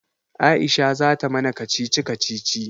Aisha zata mana kacici kacici.